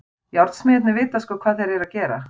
Járnsmiðirnir vita sko hvað þeir eru að gera.